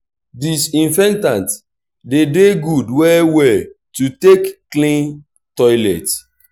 disinfectant de dey good well well to take clean toilet